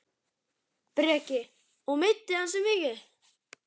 Breki: Og meiddi hann sig mikið?